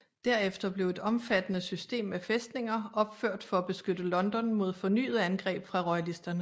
Derefter blev et omfattende system af fæstninger opført for at beskytte London mod fornyede angreb fra royalisterne